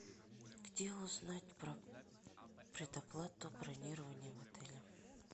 где узнать про предоплату бронирования в отеле